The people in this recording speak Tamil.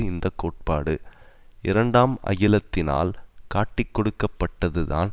இந்த கோட்பாடு இரண்டாம் அகிலத்தினால் காட்டிக்கொடுக்கப்பட்டது தான்